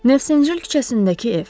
Nevşanjel küçəsindəki ev.